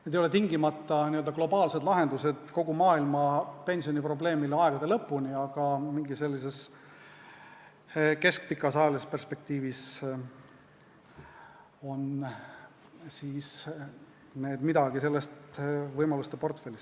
Need ei ole tingimata n-ö globaalsed lahendused kogu maailma pensioniprobleemile kuni aegade lõpuni välja, aga sellises keskpikas ajalises perspektiivis kuuluvad need olemasolevate võimaluste portfelli.